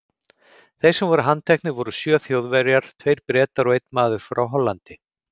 Þeir sem voru handteknir voru sjö Þjóðverjar, tveir Bretar og einn maður frá Hollandi.